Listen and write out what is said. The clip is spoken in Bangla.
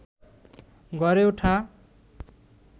গড়ে ওঠা